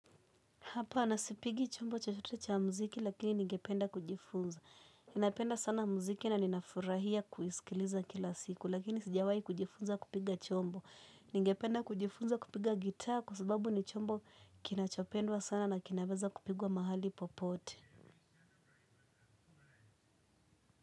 Hapana sipigi chombo chochote cha mziki lakini ningependa kujifunza. Napenda sana mziki na ninafurahia kuisikiliza kila siku lakini sijawai kujifunza kupiga chombo. Ningependa kujifunza kupiga gitaa kwa sababu ni chombo kinachopendwa sana na kinaweza kupigwa mahali popote.